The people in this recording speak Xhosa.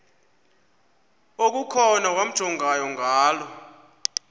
okukhona wamjongay ngaloo